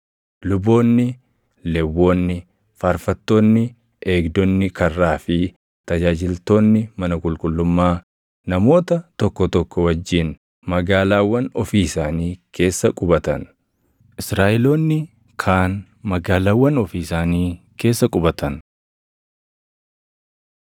Luboonni, Lewwonni, faarfattoonni, eegdonni karraa fi tajaajiltoonni mana qulqullummaa namoota tokko tokko wajjin magaalaawwan ofii isaanii keessa qubatan; Israaʼeloonni kaan magaalaawwan ofii isaanii keessa qubatan.